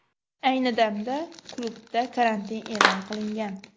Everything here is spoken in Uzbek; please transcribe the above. Ayni damda klubda karantin e’lon qilingan.